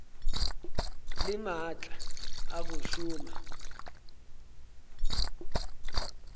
le maatla a go šoma